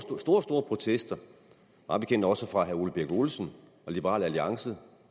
protester mig bekendt også fra herre ole birk olesen og liberal alliance